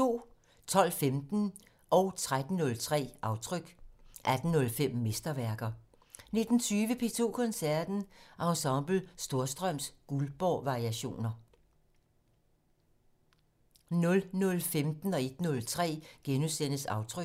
12:15: Aftryk 13:03: Aftryk 18:05: Mesterværker 19:20: P2 Koncerten - Ensemble Storstrøms Goldbergvariationer 00:15: Aftryk * 01:03: Aftryk *